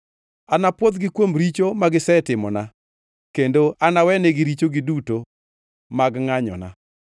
Anapwodhgi kuom richo magisetimona kendo anawenegi richogi duto mag ngʼanyona.